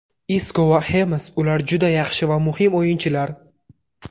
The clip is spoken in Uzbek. Isko va Xames Ular juda yaxshi va muhim o‘yinchilar.